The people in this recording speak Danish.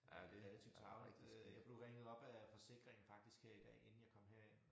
Det relativt tarveligt øh jeg blev ringet op af forsikringen faktisk her i dag inden jeg kom herind